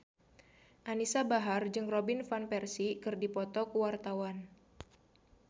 Anisa Bahar jeung Robin Van Persie keur dipoto ku wartawan